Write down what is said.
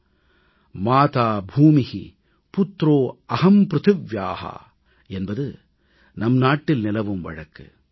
माता भूमि पुत्रो अहम प्रुथिव्या மாதா பூமி புத்ரோ அஹம் ப்ருதிவ்யா என்பது நம் நாட்டில் நிலவும் வழக்கு